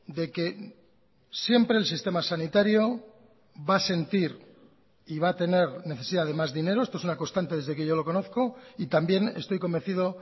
de que siempre el sistema sanitario va a sentir y va a tener necesidad de más dinero esto es una constante desde que yo lo conozco y también estoy convencido